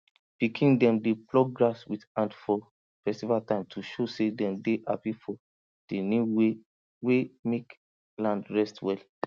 pikin dem dey pluck grass with hand for festival time to show say dem dey happy for di new way wey mek land rest well